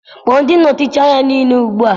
Kpọọ ndị nnọchiteanya niile ugbu a.